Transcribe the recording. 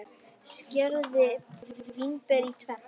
Skerið vínber í tvennt.